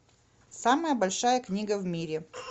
самая большая книга в мире